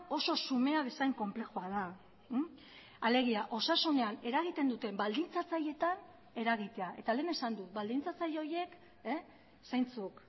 oso xumea bezain konplexua da alegia osasunean eragiten duten baldintzatzaileetan eragitea eta lehen esan dut baldintzatzaile horiek zeintzuk